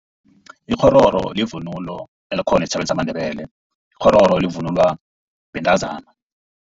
Ikghororo yivunulo elikhona esitjhabeni samaNdebele. Ikghororo livunulwa bentazana.